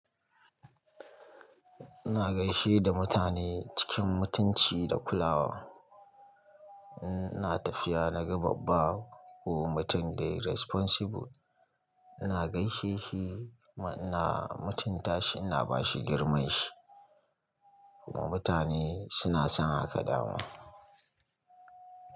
Ina gaishe da mutane, cikin mutunci da kulawa. Ina tafiya na ga babba, ko mutum dai responsible, ina gaishe shi, kuma ina mutunta shi, ina bashi girmanshi. Mutane suna son haka da mu.